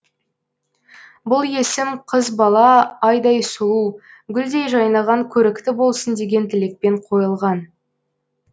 бұл есім қыз бала айдай сұлу гүлдей жайнаған көрікті болсын деген тілекпен қойылған